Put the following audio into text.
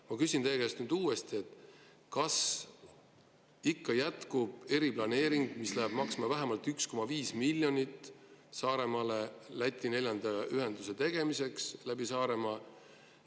Ma küsin teie käest uuesti: kas ikka jätkub eriplaneering, mis läheb maksma vähemalt 1,5 miljonit Läti neljanda ühenduse tegemiseks läbi Saaremaa?